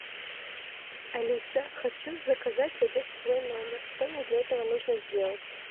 алиса хочу заказать обед в свой номер что мне для этого нужно сделать